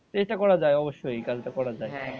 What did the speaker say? চেষ্টা করা যায় অবশ্যই এই কাজটা করা যায়